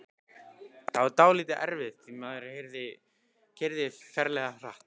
Það var dálítið erfitt því maðurinn keyrði ferlega hratt.